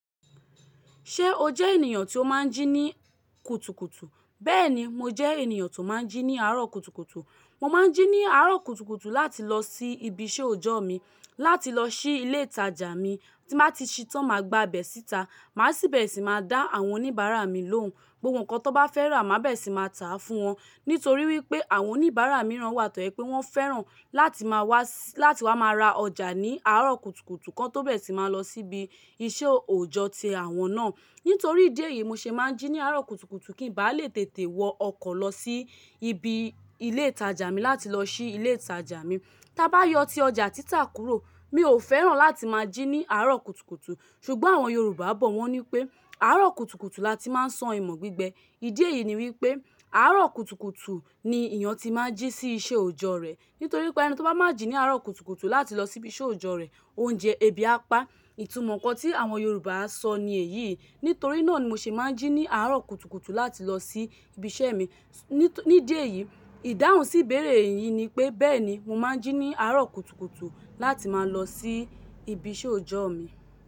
Ṣé o jẹ́ ènìyàn tí ó máa ń jí ní kùtùkùtù? Bẹ́ẹ̀ni, mo jẹ́ ènìyàn tó máa ń jí ní àárọ̀ kùtùkùtù. Mo máa ń jí ní àárọ̀ kùtùkùtù láti lọ sí ibiṣẹ́ òjọ́ mi, láti lọ sí ilé ìtajà mi. Tí màá ti ṣí tán, màá gba ibẹ síta, màá sì bẹ́ẹ̀ sì máa dá àwọn oníbàárà mi lóhùn. Gbogbo nǹkan tí wọ́n bá fẹ́ rà, màá bẹ́ẹ̀ sì máa tà á fún wọn. Nítorí wípé àwọn oníbàárà mìíràn wà tọ́ẹ́ pé wọ́n fẹ́ràn láti máa wá, láti wá máa ra ọjà ní àárọ̀ kùtùkùtù kan tó bẹ́ẹ̀ sì máa lọ síbi isẹ òjọ́ ti àwọn náà. Nítorí ìdí èyí, mo ṣe máa ń jí ní àárọ̀ kùtùkùtù kí ń bá lè tètè wọ ọkọ̀ lọ sí ibi ilé ìtajà mi láti lọ sí ilé ìtajà mi. Tí a bá yọ tí ọjà títà kúrò, mi ò fẹ́ràn láti máa jí ní àárọ̀ kùtùkùtù. Ṣùgbọ́n àwọn Yorùbá bọ̀, wọ́n ní pé àárọ̀ kùtùkùtù la ti máa ń sán ìmọ̀ gbígbẹ. Ìdí èyí ni wípé àárọ̀ kùtùkùtù ni èèyàn tí máa ń jí sí iṣẹ́ òjọ́ rẹ̀. Nítorí wípé ẹni ti ko bá máa jí ní àárọ̀ kùtùkùtù láti lọ sí ibiṣẹ́ òjọ́ rẹ̀, oúnjẹ ebi á pa á. Ìtumọ̀ nǹkan tí àwọn Yorùbá á sọ ni èyí. Nítorí náà ni mo ṣe máa ń jí ní àárọ̀ kùtùkùtù láti lọ sí ibiṣẹ́ mi. Ní díẹ̀ yìí, ìdáhùn sí ìbéèrè yìí ni pé, bẹ́ẹ̀ni mo máa ń jí ní àárọ̀ kùtùkùtù láti máa lọ sí ibiṣẹ́ òjọ́ mi.